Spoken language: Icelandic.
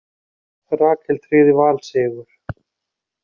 Rakel tryggði Val sigur